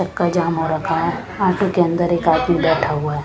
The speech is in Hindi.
चक्का जाम हो रखा है आटे के अंदर एक आदमी बैठा हुआ--